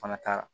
Fana taara